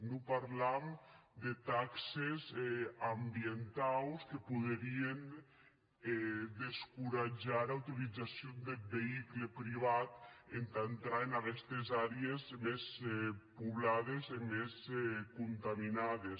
non parlam de taxes ambientaus que poderien descoratjar era utilizacion deth veïcul privat entà entrar en aguestes àrees mès poblades e mès contaminades